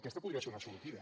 aquesta podria ser una sortida